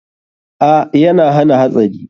A,yana hana hatsari.